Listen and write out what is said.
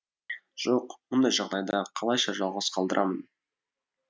жоқ мұндай жағдайда қалайша жалғыз қалдырамын